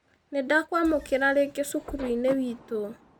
Nĩ ndakwamũkĩra rĩngĩ cukuruinĩ witũ